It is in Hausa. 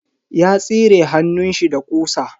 Ya tsire hannunshi da ƙusa.